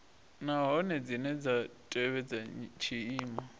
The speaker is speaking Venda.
nahone dzine dza tevhedza tshiimo